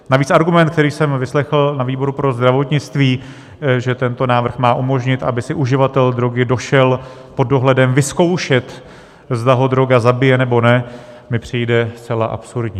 Navíc argument, který jsem vyslechl na výboru pro zdravotnictví, že tento návrh má umožnit, aby si uživatel drogy došel pod dohledem vyzkoušet, zda ho droga zabije, nebo ne, mi přijde zcela absurdní.